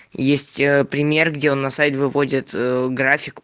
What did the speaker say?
есть ээ пример где он на сайт выводит ээ график